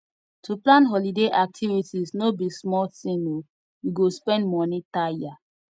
to plan holiday activities no be small tin o you go spend moni tire